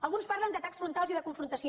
alguns parlen d’atacs frontals i de confrontació